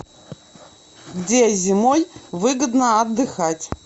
где зимой выгодно отдыхать